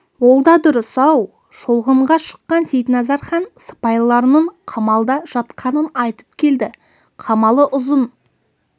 ол да дұрыс ау шолғынға шыққан сейітназар хан сыпайыларының қамалда жатқанын айтып келді қамалы ұзын